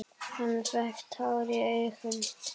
Hann fékk tár í augun.